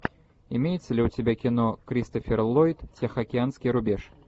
имеется ли у тебя кино кристофер ллойд тихоокеанский рубеж